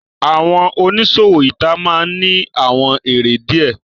Awọn oniṣowo ita maa n ni awọn ere diẹ